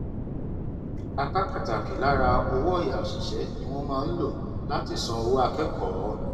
apá pàtàkì lára owó ọyà òṣìṣẹ ni wọn máa ń lò láti san owó akẹkọọ